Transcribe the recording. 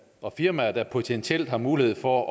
og firmaer der potentielt har mulighed for